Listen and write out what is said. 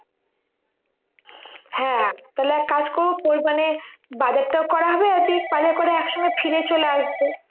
হ্যাঁ তাহলে এক কাজ করবো ওই মানে বাজারটাও করা হবে ঠিক বাজার করে এক সঙ্গে ফিরে চলে আসবে